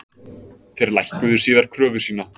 Þeir lækkuðu síðar kröfu sína